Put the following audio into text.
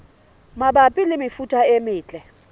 mabapi le mefuta e metle